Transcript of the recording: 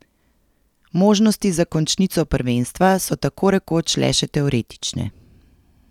Možnosti za končnico prvenstva so tako rekoč le še teoretične.